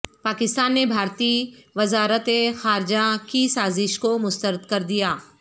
پاکستان نے بھارتی وزارت خارجہ کی سازش کو مسترد کردیا